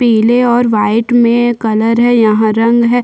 पिले और वाइट मे हैं यहाँ रंग है।